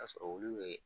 Ka sɔrɔ olu bɛ